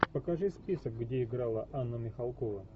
покажи список где играла анна михалкова